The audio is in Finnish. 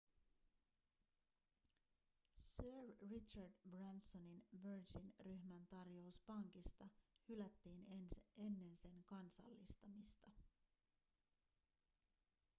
sir richard bransonin virgin-ryhmän tarjous pankista hylättiin ennen sen kansallistamista